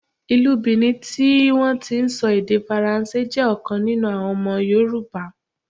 Ìlú Bìní tí wọn ti ń sọ èdè Faransé, jẹ́ ọ̀kan nínú àwọn ọmọ Yorùbá.